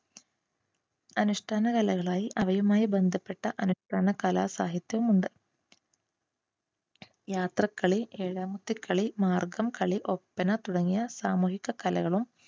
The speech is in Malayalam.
അനുഷ്ഠാന കലയുമായി അവയുമായി ബന്ധപ്പെട്ട അനുഷ്ഠാന കലാ സാഹിത്യവുമുണ്ട്. യാത്രക്കളി, ഏഴാമത്തെ കളി, മാർഗ്ഗം കളി, ഒപ്പന തുടങ്ങിയ സാമൂഹിക കലകളും